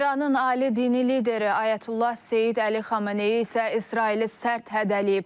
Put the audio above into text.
İranın ali dini lideri Ayətullah Seyid Əli Xameneyi isə İsraili sərt hədələyib.